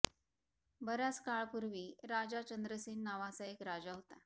बऱ्याच काळा पूर्वी राजा चंद्रसेन नावाचा एक राजा होता